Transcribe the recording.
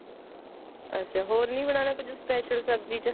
ਅੱਛਾ ਹੋਰ ਨਹੀਂ ਬਨਾਣਾ ਕੁੱਛ special ਸਬਜੀ ਚ